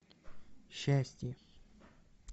счастье